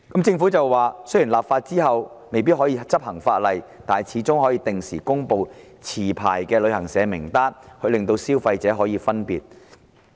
政府指出，立法後雖未必可以執行，但始終可以定時公布持牌旅行社名單，令消費者得以分辨。